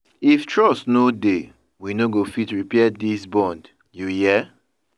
If trust no dey, we no go fit repair dis bond, you hear?